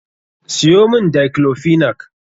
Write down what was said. Siyo mun Daiclofenac.